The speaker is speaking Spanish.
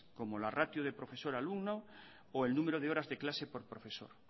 como el ratio de profesor alumno o el número de horas por profesor